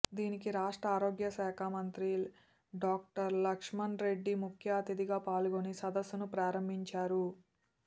దీనికి రాష్ట్ర ఆరోగ్యశాఖ మంత్రి డాక్టర్ లకా్ష్మరెడ్డి ముఖ్యఅతిథిగా పాల్గొని సదస్సును ప్రారంభించారు